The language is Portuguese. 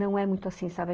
Não é muito assim, sabe?